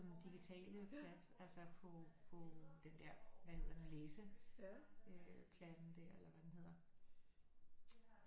Digitale plat altså på på den der hvad hedder den læse øh platten der eller hvad den hedder